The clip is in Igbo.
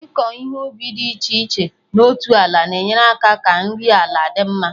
Ịkọ ihe ubi dị iche iche na otu ala na enyere aka ka nri ala dị mma